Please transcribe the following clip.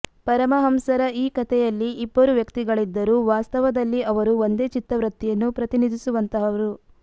ಪರಮಹಂಸರ ಈ ಕಥೆಯಲ್ಲಿ ಇಬ್ಬರು ವ್ಯಕ್ತಿಗಳಿದ್ದರೂ ವಾಸ್ತವದಲ್ಲಿ ಅವರು ಒಂದೇ ಚಿತ್ತವೃತ್ತಿಯನ್ನು ಪ್ರತಿನಿಧಿಸುವಂತಹವರು